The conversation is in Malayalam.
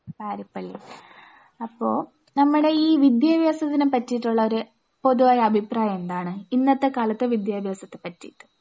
പാരിപ്പള്ളിയിൽ, അപ്പോ നമ്മുടെ ഈ വിദ്യാഭ്യാസത്തിനെ പറ്റിയിട്ടുള്ള ഒരു പൊതുവായ അഭിപ്രായം എന്താണ്? ഇന്നത്തെ കാലത്തെ വിദ്യാഭ്യാസത്തെ പറ്റിയിട്ട്?